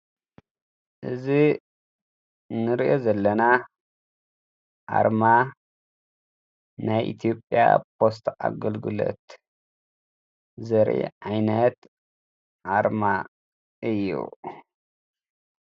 እዝ ንርኦ ዘለና ኣርማ ናይ ኢትዮጵያ ፖስታ አገልግሎት ዘርኢ ኣይነት ኣርማ እዩ::